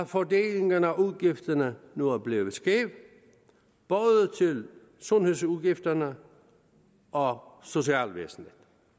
fordelingen af udgifterne nu er blevet skæv både til sundhedsudgifterne og socialvæsenet